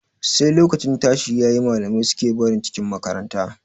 Sai lokacin tashi yayi, malamai suke barin cikin makaranta.